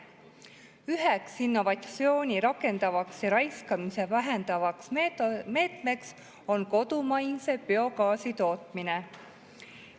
Üheks innovatsiooni rakendavaks ja raiskamist vähendavaks meetmeks on kodumaise biogaasi tootmine.